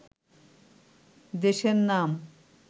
দেশের নাম